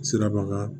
Siraba kan